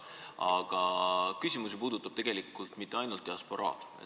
See küsimus ei puuduta ju tegelikult mitte ainult diasporaad.